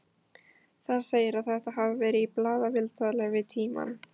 Þar segir að þetta hafi verið í blaðaviðtali við Tímann.